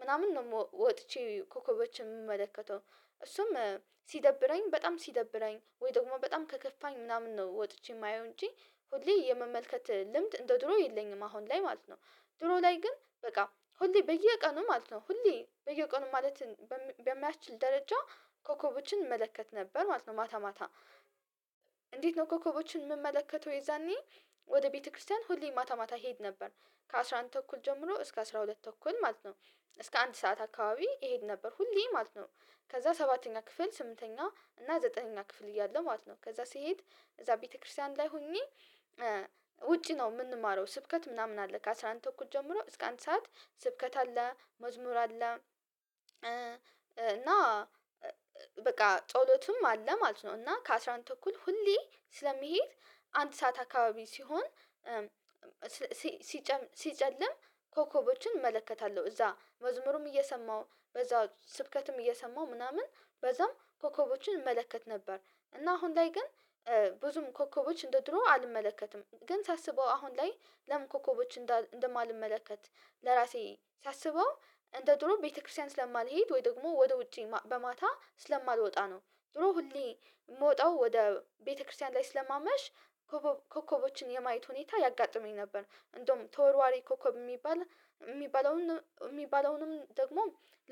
ምናምን ነው ወጥቼ ኮከቦችን የምመለከተው። እሱም ሲደብረኝ በጣም ሲደብረኝ ወይ ደግሞ በጣም ከከፋኝ ምናምን ነው ወጥቼ የማየው እንጂ ሁሌ የመመልከት ልምድ እንደ ድሮ የለኝም አሁን ላይ ማለት ነው። ድሮ ላይ ግን በቃ ሁሌ በየቀኑ ማለት ነው ሁሌ በየቀኑ ማለት በማይችል ደረጃ ኮከቦችን እመለከት ነበር ማለት ነው። ማታ ማታ እንዴት ነው ኮከቦችን የምመለከተው የዛኔ? ወደ ቤተክርስቲያን ሁሌ ማታ ማታ እሄድ ነበር። ከአሥራ አንድ ተኩል ጀምሮ እስከ አስራ ሁለት ተኩል ማለት ነው። እስከ አንድ ሰዓት አካባቢ እሄድ ነበር ሁሌ ማለት ነው። ከዛ ሰባተኛ ክፍል ስምንተኛ እና ዘጠነኛ ክፍል እያለሁ ማለት ነው ከዛ ሲሄድ እዛ ቤተክርስቲያን ላይ ሆኜ። ውጪ ነው የምንማረው ስብከት ምናምን አለ ከአስራ አንድ ተኩል ጀምሮ እስከ አንድ ሰዓት ስብከት አለ መዝሙር አለ። እና በቃ ጸሎቱም አለ ማለት ነው። እና ከአስራ አንድ ተኩል ሁሌ ስለመሄድ አንድ ሰዓት አካባቢ ሲሆን ሲጨም ሲጨልም ኮከቦችን እመለከታለሁ እዛ መዝሙሩም እየሰማሁ በዛ ስብከትም እየሰማሁ ምናምን በዛም ኮከቦችን እመለከት ነበር። እና አሁን ላይ ግን ብዙም ኮከቦች እንደ ድሮ አልመለከትም። ግን ሳስበው አሁን ላይ ለምን ኮከቦች እንደማልመለከት ለራሴ ሳስበው እንደ ጥሩ ቤተክርስቲያን ስለማልሄድ ወይ ደግሞ ወደ ውጪ በማታ ስለማልወጣ ነው። ድሮ ሁሌ የምወጣው ወደ ቤተክርስቲያን ላይ ስለማመሽ ኮከቦችን የማየት ሁኔታ ያጋጥመኝ ነበር። እንደውም ተወርዋሪ ኮከብ የሚባል የሚባለውን የሚባለውንም ደግሞ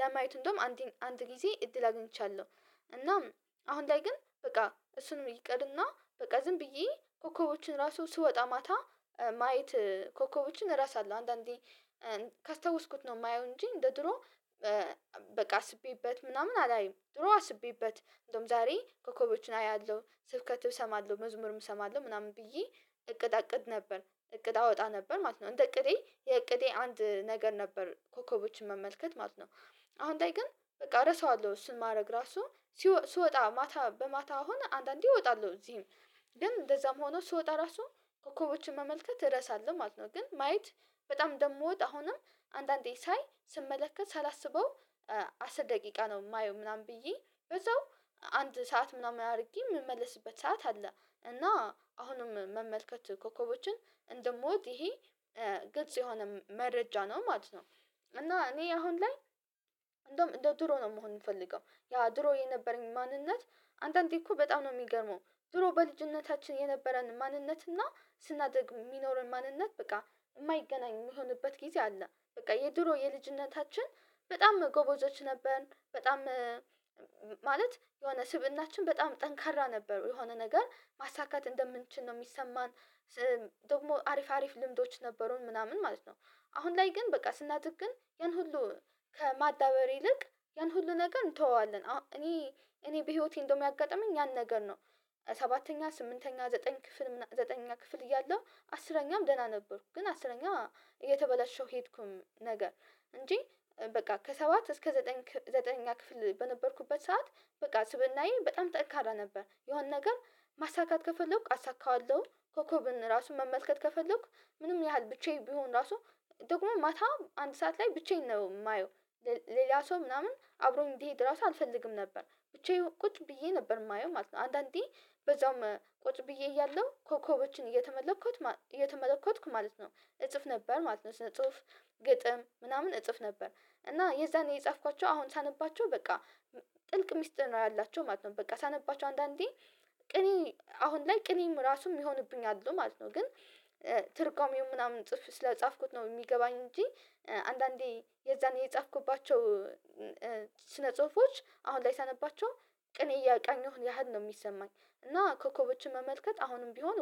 ለማየት እንደውም አንድ አንድ ጊዜ እድል አግኝቻለሁ። እናም አሁን ላይ ግን በቃ እሱንም ይቀሪና በቃ ዝም ብዬ ኮከቦችን ራሱ ስወጣ ማታ ማየት ኮከቦችን እረሳለሁ አለው አንዳንዴ ካስታወስኩት ነው። የማየው እንጂ እንደ ድሮ በቃ አስቤበት ምናምን አላይም ድሮ አስቤበት እንደውም ዛሬ ኮከቦችን አያለሁ ስብከት እሰማለሁ መዝሙርም እሰማለሁ ምናምን ብዬ። እቅድ አቅድ ነበር እቅድ አወጣ ነበር ማለት ነው እንደ እቅዴ የእቅዴ አንድ ነገር ነበር ኮከቦችን መመልከት ማለት ነው። አሁን ላይ ግን በቃ ረሳዋለሁ እሱን ማድረግ ራሱ ስወጣ ማታ በማታ አሁን አንዳንዴ እወጣለሁ እዚህም ደግሞ እንደዛም ሆኖ ስወጣ ራሱ ኮከቦችን መመልከት እረሳለሁ ማለት ነው። ግን ማየት በጣም ደግሞ ወጥ አሁንም አንዳንዴ ሳይ ስመለከት ሳላስበው አስር ደቂቃ ነው የማየው ምናምን ብዬ ብዛው አንድ ሰዓት ምናምን አድርጌ የምመለስበት ሰዓት አለ። እና አሁንም መመልከት ኮከቦችን እንደምወድ ይሄ ግልጽ የሆነ መረጃ ነው ማለት ነው። እና እኔ አሁን ላይ እንደውም እንደ ድሮ ነው መሆን የምፈልገው ያ ድሮ የነበረኝ ማንነት አንድ አንዴ እኮ በጣም ነው የሚገርመው ድሮ በልጅነታችን የነበረን ማንነት እና ስናደርግ የሚኖረን ማንነት በቃ የማይገናኝ የሚሆንበት ጊዜ አለ በቃ የድሮ የልጅነታችን በጣም ጎበዞች ነበርን በጣም ማለት የሆነ ስብእናችን በጣም ጠንካራ ነበር የሆነ ነገር ማሳካት እንደምንችል ነው የሚሰማን። ደግሞ አሪፍ አሪፍ ልምዶች ነበሩን ምናምን ማለት ነው። አሁን ላይ ግን በቃ ስናድግ ግን ያን ሁሉ ከማዳበር ይልቅ ያን ሁሉ ነገር እንተወዋለን እኔ እኔ በህይወቴ እንደውም ያጋጠመኝ ያን ነገር ነው። ሰባተኛ ስምንተኛ ዘጠኝ ክፍል ምናምን ዘጠነኛ ክፍል እያለሁ አስረኛም ደህና ነበርኩ። ግን አስረኛ እየተበላሸው ሄድኩም ነገር እንጂ በቃ ከሰባት እስከ ዘጠኝ ዘጠነኛ ክፍል በነበርኩበት ሰዓት በቃ ስብእናዬ በጣም ጠንካራ ነበር የሆነ ነገር ማሳካት ከፈለኩ አሳካዋለሁ። ኮኮብን ራሱን መመልከት ከፈለኩ ምንም ያህል ብቻዬ ቢሆን ራሱ ደግሞ ማታ አንድ ሰዓት ላይ ብቻዬን ነው የማየው። ሌላ ሰው ምናምን አብሮ እንዲሄድ ራሱ አልፈልግም ነበር ብቻዬን ቁጭ ብዬ ነበር የማየው ማለት ነው። አንዳንዴ በዛውም ቁጭ ብዬ እያለሁ ኮከቦችን እየተመለከትኩ እየተመለከትኩ ማለት ነው እጽፍ ነበር ማለት ነው። ጽሁፍ ግጥም ምናምን እጽፍ ነበር እና የዛኔ የጻፍኳቸው አሁን ሳነባቸው በቃ ጥልቅ ሚጥር ነው ያላቸው ማለት ነው። በቃ ሳነባቸው አንዳንዴ ቅኔ አሁን ላይ ቅኔም ራሱም ይሆንብኛል ማለት ነው። ግን ትርጓሜው ምናምን ጽፍ ስለጻፍኩት ነው የሚገባኝ እንጂ አንዳንዴ የዛን የጻፍኩባቸው ስነ ጽሁፎች አሁን ላይ ሳነባቸው ቅኔ እያቃኘሁ ያህል ነው የሚሰማኝ። እና ኮከቦችን መመልከት አሁንም ቢሆን